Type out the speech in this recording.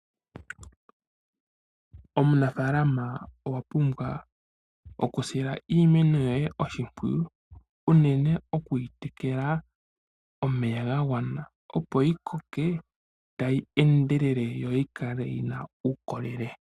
Omunafalama owa pumbwa oku sila iimeno yoye oshimpwiyu, uunene okuyi tekela omeya ga gwana opo yi koke tayi endelele, yi yikale yina uukolele.